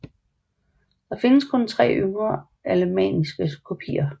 Der findes kun tre yngre alemanniske kopier